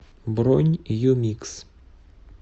бронь юмикс